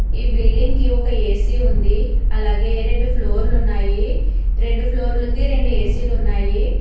ఈ బిల్డింగ్ కి ఒక ఏ_సీ ఉంది అలాగే రెండు ఫ్లోర్లు ఉన్నాయి రెండు ఫ్లోర్లకి రెండు ఏ_సీ లు ఉన్నాయి.